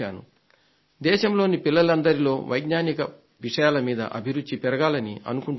దేశంలోని పిల్లలందరిలో వైజ్ఞానిక విషయాల మీద అభిరుచి పెరగాలని అనుకుంటున్నాను